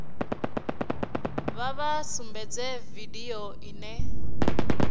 vha vha sumbedze vidio ine